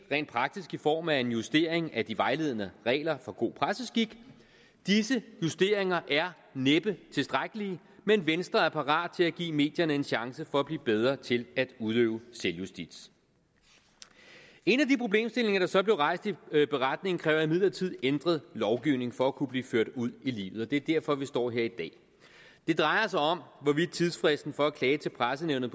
i form af en justering af de vejledende regler for god presseskik disse justeringer er næppe tilstrækkelige men venstre er parat til at give medierne en chance for at blive bedre til at udøve selvjustits en af de problemstillinger der så blev rejst i beretningen kræver imidlertid en ændret lovgivning for at kunne blive ført ud i livet og det er derfor vi står her i dag det drejer sig om hvorvidt tidsfristen for at klage til pressenævnet